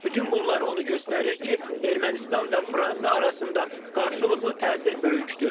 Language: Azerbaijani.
Bütün bunlar onu göstərir ki, Ermənistan və Fransa arasında qarşılıqlı təsir böyükdür.